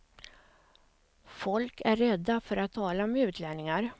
Folk är rädda för att tala med utlänningar.